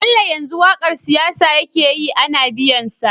Bello yanzu waƙar siyasa yake yi Ana biyan sa